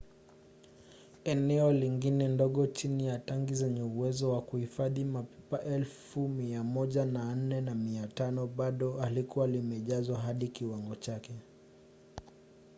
eneo lingine ndogo chini ya tangi zenye uwezo wa kuhifadhi mapipa 104,500 bado halikuwa limejazwa hadi kiwango chake